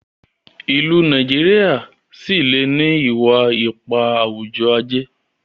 ilú Nàìjíríà sí lẹ ní iwa-ipa awujọ-aje